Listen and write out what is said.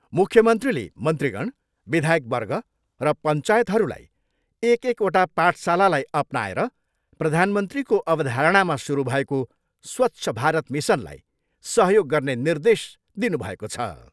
मुख्यमन्त्रीले मन्त्रीगण, विधायकवर्ग र पञ्चायतहरूलाई एक एकवटा पाठशालालाई अपनाएर प्रधानमन्त्रीको अवधारणामा सुरु भएको स्वच्छ भारत मिसनलाई सहयोग गर्ने निर्देश दिनुभएको छ।